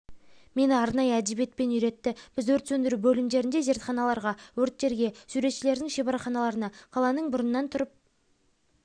мені арнайы әдебиетпен үйретті біз өрт сөндіру бөлімдеріне зертханаларға өрттерге суретшілердің шеберханаларына қаланың бұрыннан тұрып